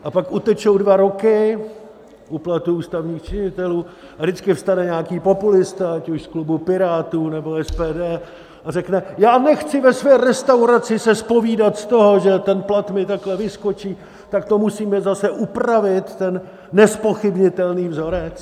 A pak utečou dva roky u platů ústavních činitelů a vždycky vstane nějaký populista, ať už z klubu Pirátů, nebo SPD, a řekne, já nechci ve své restauraci se zpovídat z toho, že ten plat mi takhle vyskočí, tak to musíme zase upravit ten nezpochybnitelný vzorec.